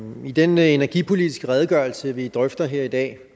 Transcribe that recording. i den energipolitiske redegørelse vi drøfter her i dag